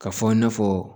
Ka fɔ i na fɔ